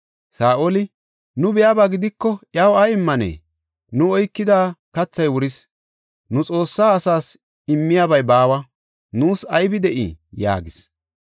Saa7oli, “Nu biyaba gidiko iyaw ay immanee? Nu oykida kathay wuris; nu Xoossa asas immiyabay baawa. Nuus aybi de7ii?” yaagis.